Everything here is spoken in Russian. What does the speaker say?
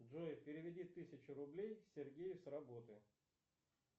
джой переведи тысячу рублей сергею с работы